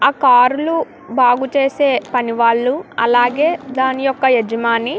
ఆ కార్ లు బాగా చేసే పని వాళ్ళు అలాగే దాని యొక్క యజమాని --